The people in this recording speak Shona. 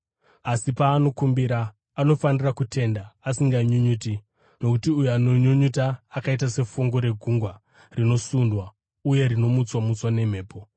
Asi paanokumbira, anofanira kutenda asinganyunyuti, nokuti uyo anonyunyuta akaita sefungu regungwa, rinosundwa uye rinomutswa-mutswa nemhepo.